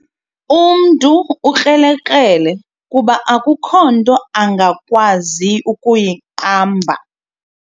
Umntu ukrelekrele kuba akukho nto angakwazi kuyiqamba.